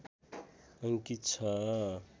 अङ्कित छ